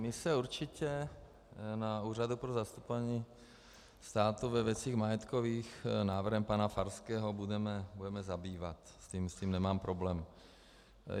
My se určitě na Úřadu pro zastupování státu ve věcech majetkových návrhem pana Farského budeme zabývat, s tím nemám problém.